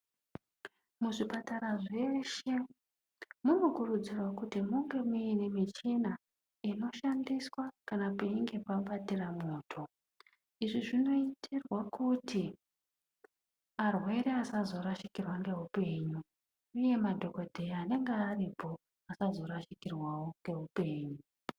Muzvipatara zveshe munokurudzirwa kuti munge muine michina inoshandiswa kana painge pabatira moto izv zvinoitirwa kuti arwere asazorasikirwe neupenyu uye madhogodheya anwnge aripo asazorasikirwawo neupenyu.